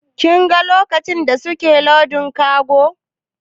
Kin ga lokacin da suke lodin kago?